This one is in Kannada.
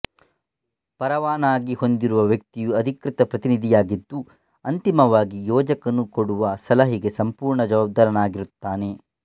ಪರವಾನಗಿ ಹೊಂದಿರುವ ವ್ಯಕ್ತಿಯು ಅಧಿಕೃತ ಪ್ರತಿನಿಧಿಯಾಗಿದ್ದು ಅಂತಿಮವಾಗಿ ಯೋಜಕನು ಕೊಡುವ ಸಲಹೆಗೆ ಸಂಪೂರ್ಣ ಜವಾಬ್ದಾರನಾಗಿರುತ್ತಾನೆ